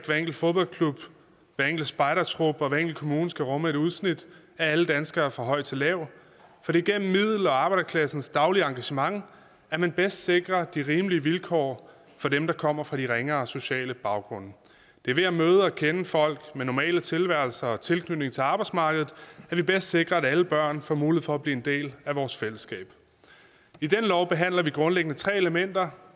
hver enkelt fodboldklub hver enkelt spejdertrup og hver enkelt kommune skal rumme et udsnit af alle danskere fra høj til lav for det er gennem middel og arbejderklassens daglige engagement at man bedst sikrer de rimelige vilkår for dem der kommer fra de ringere sociale baggrunde det er ved at møde og kende folk med normale tilværelser og tilknytning til arbejdsmarkedet at vi bedst sikrer at alle børn får mulighed for at blive en del af vores fællesskab i denne lov behandler vi grundlæggende tre elementer